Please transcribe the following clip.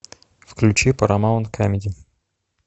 включи парамаунт камеди